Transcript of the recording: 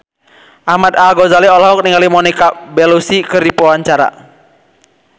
Ahmad Al-Ghazali olohok ningali Monica Belluci keur diwawancara